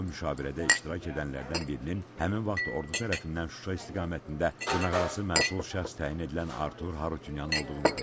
O müşavirədə iştirak edənlərdən birinin həmin vaxt ordu tərəfindən Şuşa istiqamətində dırnaqarası məsul şəxs təyin edilən Artur Harutyunyan olduğunu dedi.